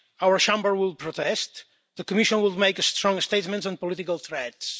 our Chamber would protest the Commission would make a strong statement on political threats.